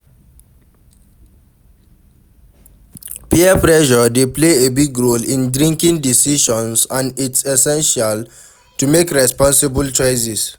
Peer pressure dey play a big role in drinking decisions and its essential to make responsible choices.